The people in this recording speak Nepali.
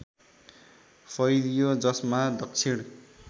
फैलियो जसमा दक्षिण